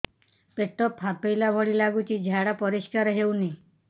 ପେଟ ଫମ୍ପେଇଲା ଭଳି ଲାଗୁଛି ଝାଡା ପରିସ୍କାର ହେଉନି